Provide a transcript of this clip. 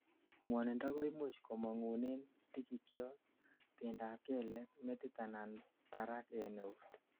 ngwonindo koimuch komangunen tigikyot, bendop kelek, metit anan barak en eut